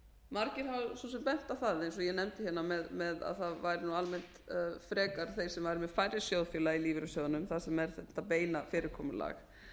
sem bent á það eins og ég nefndi hérna með að það væru almennt frekar þeir sem væru með færri sjóðfélaga í lífeyrissjóðunum þar sem er þetta beina fyrirkomulag